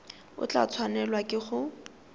o tla tshwanelwa ke go